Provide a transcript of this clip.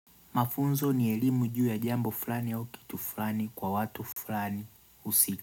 Mafunzo ni elimu juu ya jambo fulani au kitu fulani kwa watu fulani usi.